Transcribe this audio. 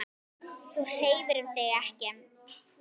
Þú hreyfir þig ekki.